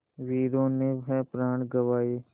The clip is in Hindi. वीरों ने है प्राण गँवाए